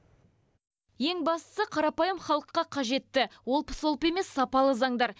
ең бастысы қарапайым халыққа қажетті олпы солпы емес сапалы заңдар